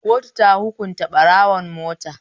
Kotu ta hukunta ɓarawon mota.